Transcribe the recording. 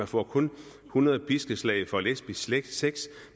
får kun hundrede piskeslag for lesbisk sex sex